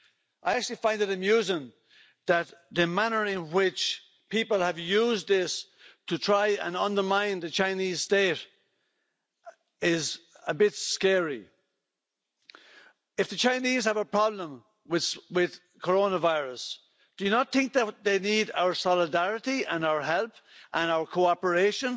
I actually find it amusing that the manner in which people have used this to try and undermine the Chinese State is a bit scary. If the Chinese have a problem with coronavirus, do you not think that they need our solidarity and our help and our cooperation?